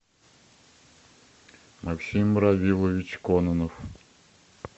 максим равилович кононов